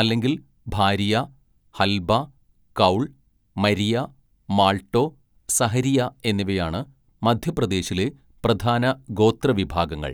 അല്ലെങ്കിൽ ഭാരിയ, ഹൽബ, കൗൾ, മരിയ, മാൾട്ടോ, സഹരിയ എന്നിവയാണ് മധ്യപ്രദേശിലെ പ്രധാന ഗോത്രവിഭാഗങ്ങൾ.